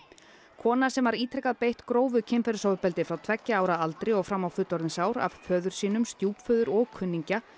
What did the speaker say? kona sem var ítrekað beitt grófu kynferðisofbeldi frá tveggja ára aldri og fram á fullorðinsár af föður stjúpföður og kunningja